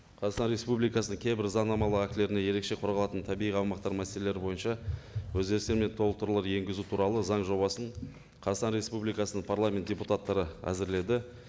қазақстан республикасының кейбір заңнамалық актілеріне ерекше қорғалатын табиғи аумақтар мәселелері бойынша өзгерістер мен толықтырулар енгізу туралы заң жобасын қазақстан республикасының парламент депутаттары әзірледі